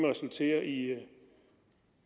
resultere i